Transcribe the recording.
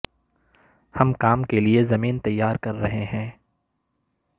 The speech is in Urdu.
ہم کام کے لئے زمین تیار کر رہے ہیں